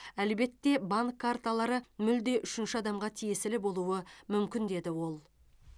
әлбетте банк карталары мүлде үшінші адамға тиесілі болуы мүмкін деді ол